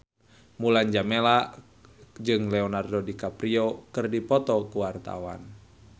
Mulan Jameela jeung Leonardo DiCaprio keur dipoto ku wartawan